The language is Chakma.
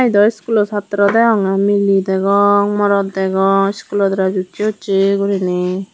yun dow iskulo satro degongey miley degong morot degong scholo dress otje otje guriney.